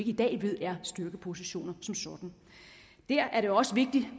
i dag ved er styrkepositioner som sådan der er det også vigtigt